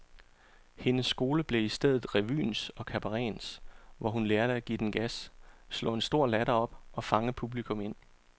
Hendes skole blev i stedet revyens og kabarettens, hvor hun lærte at give den gas, slå en stor latter op og fange publikum ind.